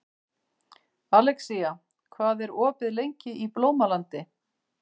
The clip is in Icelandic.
Alexía, hvað er opið lengi í Blómalandi?